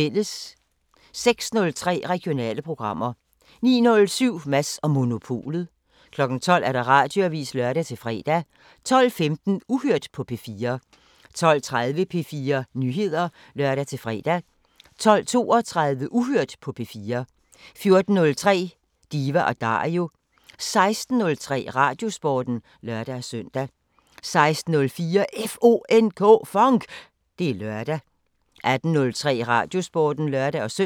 06:03: Regionale programmer 09:07: Mads & Monopolet 12:00: Radioavisen (lør-fre) 12:15: Uhørt på P4 12:30: P4 Nyheder (lør-fre) 12:32: Uhørt på P4 14:03: Diva & Dario 16:03: Radiosporten (lør-søn) 16:04: FONK! Det er lørdag 18:03: Radiosporten (lør-søn)